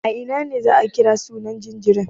A ina ne za a kira sunan jaririn?